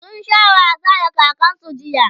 sun Sha wasa da kakansu jiya